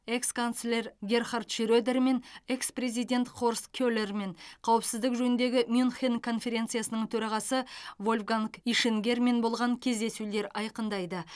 экс канцлер герхард шредермен экс президент хорст келермен қауіпсіздік жөніндегі мюнхен конференциясының төрағасы вольфганг ишингермен болған кездесулер айқындайды